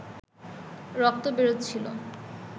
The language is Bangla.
রক্ত বেরোচ্ছিল